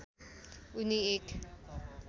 उनी एक